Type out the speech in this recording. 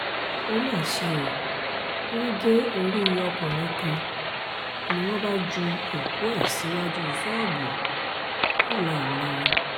ó mà ṣe o wọ́n gé orí ọkùnrin kan ni wọ́n bá ju òkú ẹ̀ síwájú ṣọ́ọ̀bù ńlọrọrìn